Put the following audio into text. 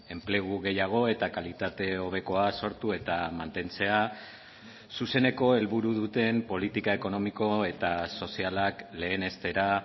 enplegu gehiago eta kalitate hobekoa sortu eta mantentzea zuzeneko helburu duten politika ekonomiko eta sozialak lehenestera